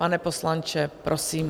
Pane poslanče, prosím.